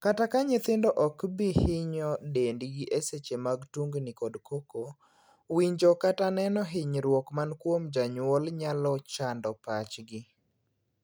Kata ka nyithindo ok bi hinyo dendgi e seche mag tungni kod koko, winjo kata neno hinyruok man kuom janyuol nyalo chando pachgi.